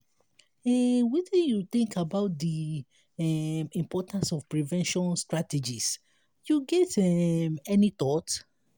um wetin you think about di um importance of prevention strategies you get um any thought?